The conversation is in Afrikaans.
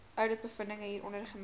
ouditbevindinge hieronder gemeld